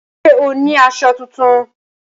Ṣé o ní aṣọ tuntun?